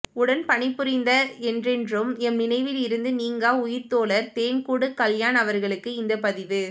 உடன் பணிபுரிந்த என்றென்றும் எம் நினைவிலிருந்து நீங்கா உயிர்த்தோழர் தேன்கூடு கல்யாண் அவர்களுக்காக இந்தப் பதிவு